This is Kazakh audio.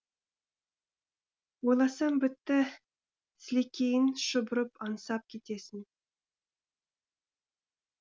ойласаң бітті сілекейің шұбырып аңсап кетесің